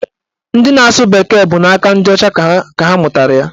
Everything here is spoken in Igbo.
Ndị na-asụ bekee bụ n'aka ndị ọcha ka ha mụtara ya